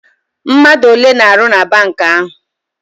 Mmadụ ole na-arụ na bank ahụ?